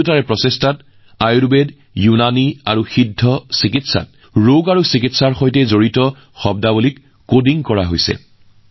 দুয়োৰে প্ৰচেষ্টাত আয়ুৰ্বেদ ইউনানী আৰু সিদ্ধ চিকিৎসাত ৰোগ আৰু চিকিৎসাৰ সৈতে জড়িত পৰিভাষা কডিং কৰা হৈছে